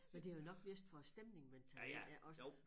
Men det jo nok mest for æ stemning man tager ind ja også